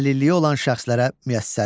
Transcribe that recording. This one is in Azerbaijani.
Əlilliyi olan şəxslərə müyəssərlik.